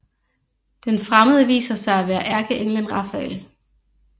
Den fremmede viser sig at være ærkeenglen Rafael